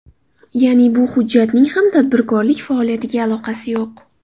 Ya’ni, bu hujjatning ham tadbirkorlik faoliyatiga aloqasi yo‘q.